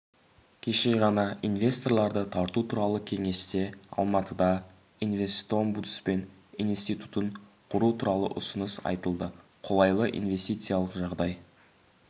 кеше ғана инвесторларды тарту туралы кеңесте алматыда инвестомбудсмен институтын құру туралы ұсыныс айтылды қолайлы инвестициялық жағдай